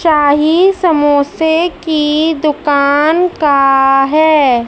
चाही समोसे की दुकान का है।